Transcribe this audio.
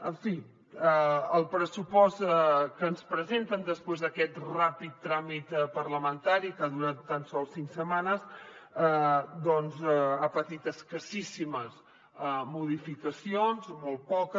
en fi el pressupost que ens presenten després d’aquest ràpid tràmit parlamentari que ha durat tan sols cinc setmanes doncs ha patit escassíssimes modificacions molt poques